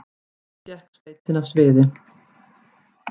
Á endanum gekk sveitin af sviði